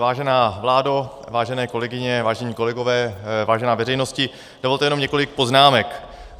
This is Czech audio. Vážená vládo, vážené kolegyně, vážení kolegové, vážená veřejnosti, dovolte jenom několik poznámek.